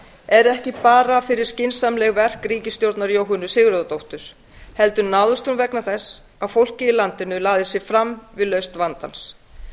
er ekki bara fyrir skynsamleg verk ríkisstjórnar jóhönnu sigurðardóttur heldur náðist hún vegna þess að fólkið í landinu lagði sig fram við lausn vandans